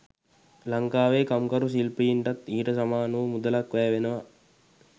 ලංකාවේ කම්කරු /ශිල්පීන්ටත් ඊට සමාන වූ මුදලක් වැය වෙනවා.